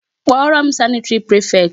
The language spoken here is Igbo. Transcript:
Kpọrọ m sanitary prefect.